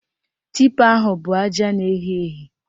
Tipa ahụ bụ aja na-ehi ehi